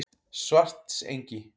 Svartsengi